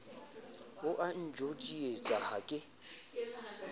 o a ntjodietsa ha ke